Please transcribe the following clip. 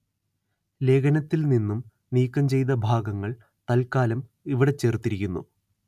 ലേഖനത്തില്‍ നിന്നും നീക്കം ചെയ്ത ഭാഗങ്ങള്‍ തല്‍ക്കാലം ഇവിടെ ചേര്‍ത്തിരിക്കുന്നു